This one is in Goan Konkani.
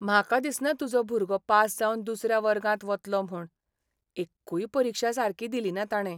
म्हाका दिसना तुजो भुरगो पास जावन दुसऱ्या वर्गांत वतलो म्हूण. एक्कूय परिक्षा सारकी दिलिना ताणे.